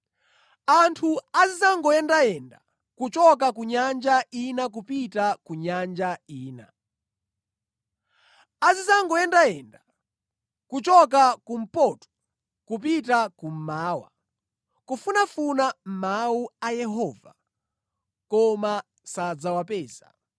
Anthu azidzangoyendayenda kuchoka ku nyanja ina kupita ku nyanja ina. Azidzangoyendayenda kuchoka kumpoto kupita kummawa, kufunafuna mawu a Yehova, koma sadzawapeza.